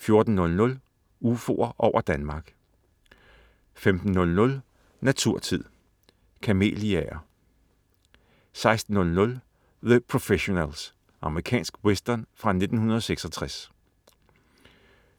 14.00 UFOer over Danmark* 15.00 Naturtid. Kameliaer* 16.00 The Professionals. Amerikansk western fra 1966